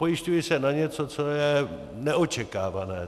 Pojišťuji se na něco, co je neočekávané.